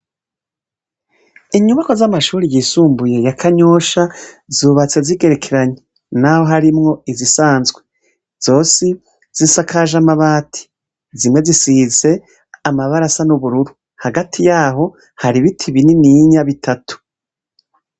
Inyubakwa z'amashure yisumbuye ya Kanyosha zubatse zigerekenanye n'aho harimwo izisanzwe. Zose zisakaje amabati, zimwe zisize amabara asa n'ubururu, hagati yaho hari ibiti binininya bitatu.